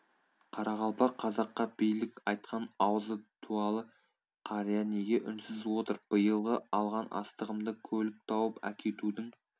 қарақалпақ қазаққа билік айтқан аузы дуәлі қария неге үнсіз отыр биылғы алған астығымды көлік тауып әкетудің